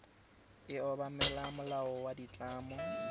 e obamela molao wa ditlamo